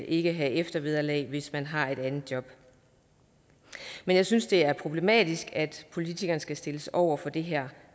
ikke have eftervederlag hvis man har et andet job men jeg synes det er problematisk at politikerne skal stilles over for det her